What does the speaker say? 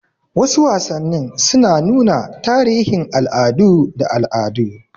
Wasu wasannin suna nuna tarihin al'adu da al'adu.